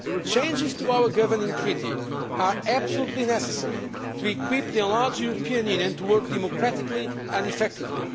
Changes to our governing Treaty are absolutely necessary to equip the enlarged European Union to work democratically and effectively.